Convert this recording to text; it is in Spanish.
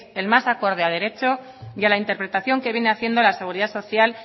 el más acorde a derecho y a la interpretación que viene haciendo la seguridad social